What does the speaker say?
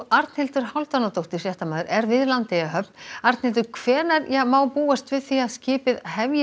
Arnhildur Hálfdánardóttir fréttamaður er við Landeyjahöfn Arnhildur hvenær má búast við því að skipið hefji